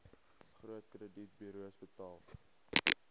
groot kredietburos betaal